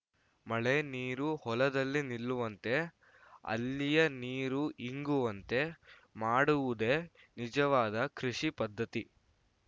ಮಳೆ ನೀರು ಹೊಲದಲ್ಲೇ ನಿಲ್ಲುವಂತೆ ಅಲ್ಲಿಯೇ ನೀರು ಇಂಗುವಂತೆ ಮಾಡುವುದೇ ನಿಜವಾದ ಕೃಷಿ ಪದ್ಧತಿ